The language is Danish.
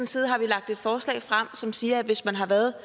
side har vi lagt et forslag frem som siger at hvis man har været